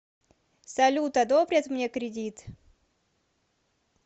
салют одобрят мне кридит